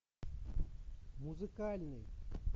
музыкальный